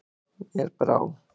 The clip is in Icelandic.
Mér brá!